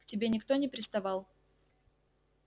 к тебе никто не приставал